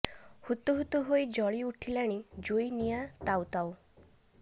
ହୁତୁ ହୁତୁ ହୋଇ ଜଳି ଉଠିଲାଣି ଜୁଇ ନିଆଁ ତାଉ ତାଉ